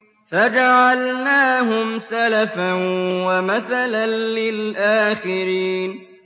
فَجَعَلْنَاهُمْ سَلَفًا وَمَثَلًا لِّلْآخِرِينَ